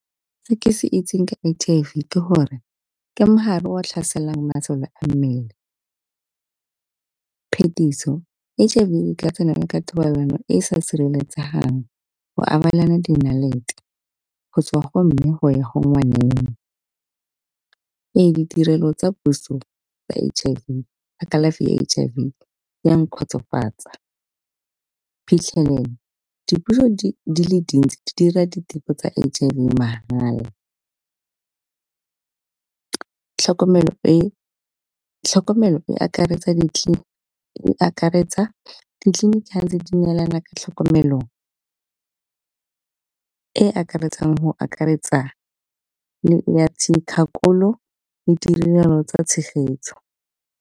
Se ke se itseng ka H_I_V ke gore ke mogare wa tlhaselang masole a mmele. Phetiso H_I_V e ka tsenela ka thobalano e sa sireletsegang, go abelana di nnalete, go tswa go mme go ya go nwaneng. Ee, ditirelo tsa puso tsa H_I_V tsa kalafi ya H_I_V ya nkgotsofatsa. Phitlhelelo, dipuso di le dintsi di dira diteko tsa H_I_V mahala, tlhokomelo e akaretsa di e akaretsa ditlileniki tse di neelanang ka tlhokomelo e e akaretsang go akaretsa le ya dikgakololo le ditirelo tsa tshegetso.